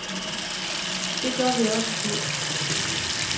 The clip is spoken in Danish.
Det gør vi også selv.